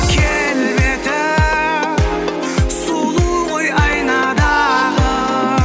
келбеті сұлу ғой айнадағы